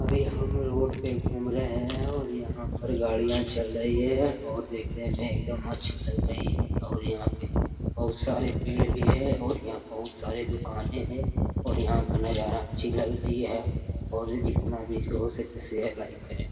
अभी हर रोड पे घूम रहे है और यहाँ पर गाड़ियां चल रही है और देखने में एकदम अच्छी लग रही है और यहाँ पे बहुत सारे पेड़ है और यहाँ बहुत सारे दूकान है और यहाँ का नज़ारा अच्छी लग रही है और जितना हो सके शेयर लाइक करे --